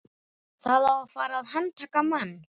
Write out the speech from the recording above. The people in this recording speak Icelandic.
Það á að fara að handtaka mann.